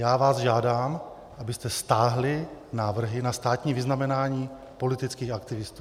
Já vás žádám, abyste stáhli návrhy na státní vyznamenání politických aktivistů.